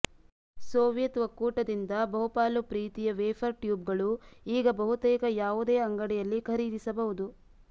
Soviet ಒಕ್ಕೂಟದಿಂದ ಬಹುಪಾಲು ಪ್ರೀತಿಯ ವೇಫರ್ ಟ್ಯೂಬ್ಗಳು ಈಗ ಬಹುತೇಕ ಯಾವುದೇ ಅಂಗಡಿಯಲ್ಲಿ ಖರೀದಿಸಬಹುದು